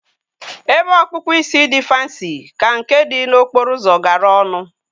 Ebe ọkpụkpụ isi dị fansi ka nke dị n'okporo ụzọ gara ọnụ